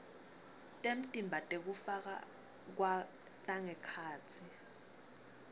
temtimba tekufakwa tangekhatsi